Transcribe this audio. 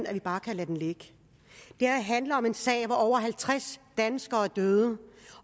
at vi bare kan lade den ligge det her handler om en sag hvor over halvtreds danskere er døde